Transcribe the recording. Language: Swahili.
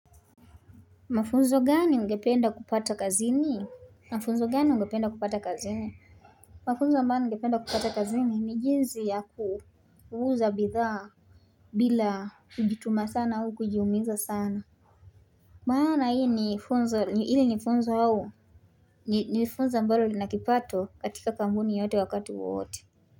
Mafunzo gani ungependa kupata kazini? Mafunzo gani ungependa kupata kazini? Mafunzo ambayo ningependa kupata kazini ni jinsi ya kuuza bidhaa bila kujituma sana au kujiumiza sana maana hii ni funzo ili ni funzo hau ni funzo ambalo linakipato katika kambuni yote wakati wote.